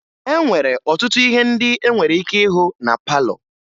E nwere ọtụtụ ihe ndị e nwere ike ịhụ na palọ